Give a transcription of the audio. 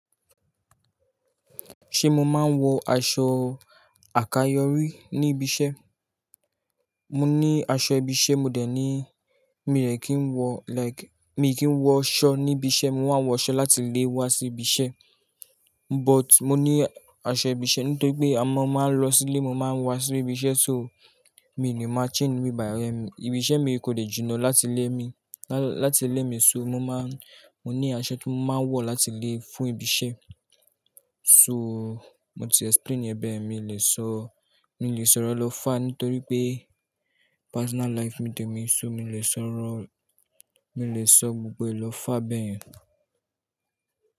Ṣé mo máa ń wọ aṣọ àkayòrí ní ibi iṣẹ́? Mo ní aṣọ ibi iṣẹ́, mo dẹ̀ ní mi dẹ̀ kì í wọ like, mi kì í wọ aṣọ ní ibi iṣẹ́, mo máa ń wọ aṣọ láti lé wá sí ibi iṣẹ́. But mo ní aṣọ ibi iṣẹ́ nítorí pé a máa ń lọ sílé, mo máa ń wá sí ibi iṣẹ́ so mi ò le máa change ni ibi bayi. Ibi iṣẹ́ mi kò dè jinná láti ilé mi, láti ilé mi so mo máa ń, mo ní aṣọ tí mo máa ń wọ láti lé fún ibi iṣẹ́. So mo ti explain e bẹ̀, mi lè sọ, mi lè sọ̀rọ̀ lọ́ far nítorí pé personal life temi so mi lè sọ̀rọ̀, mi lè sọ gbogbo èlò far bẹ́ yen.